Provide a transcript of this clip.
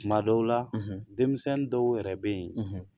Tuma dɔw la denmisɛnw dɔw yɛrɛ bɛ yen